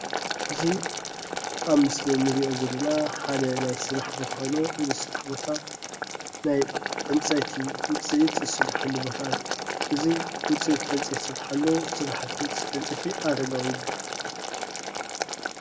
እዚ ኣብ ምስሊ እንሪኦ ዘለና ሓደ ናይ ስራሕ ቦታ ኮይኑ ናይ ስራሕ ቦታ ናይ ዕንፀይቲ ዉፅኢት ዝስርሓሉ ቦታ እዩ። እዚ ዉፅኢት ዕንፀይቲ ዝስራሓሉ ስራሕቲ ዉፅኢት ዕንፀይቲ አረጋዊ ይብሃል።